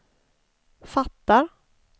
fattar